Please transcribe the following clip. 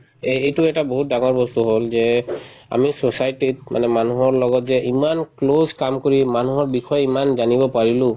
এই‍‍ এইটো এটা বহুত ডাঙৰ বস্তু হল যে আমি society ত মানে মানুহৰ লগত যে ইমান close কাম কৰি মানুহৰ বিষয়ে ইমান জানিব পাৰিলো